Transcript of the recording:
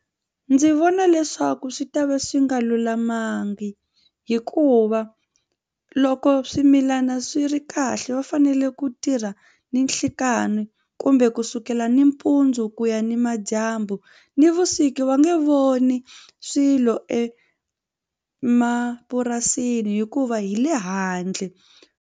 Ndzi vona leswaku swi ta va swi nga lulamanga hikuva loko swimilana swi ri kahle va fanele ku tirha ninhlikani ku kumbe kusukela nampundzu ku ya nimadyambu nivusiku va nge voni swilo emapurasini hikuva hi le handle.